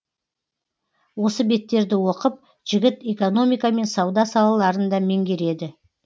осы беттерді оқып жігіт экономика мен сауда салаларын да меңгереді